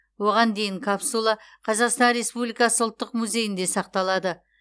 оған дейін капсула қазақстан республикасы ұлттық музейінде сақталады